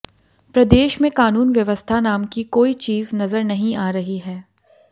प्रदेश में कानून व्यवस्था नाम की कोई चीज नजर नहीं आ रही है